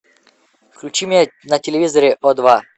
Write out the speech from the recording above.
включи мне на телевизоре о два